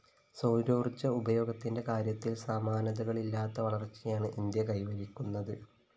സൗരോര്‍ജ്ജ ഉപയോഗത്തിന്റെ കാര്യത്തില്‍ സമാനതകളില്ലാത്ത വളര്‍ച്ചയാണ് ഇന്ത്യ കൈവരിക്കുന്നത്